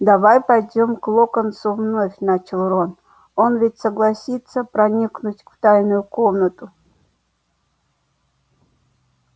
давай пойдём к локонсу вновь начал рон он ведь согласился проникнуть в тайную комнату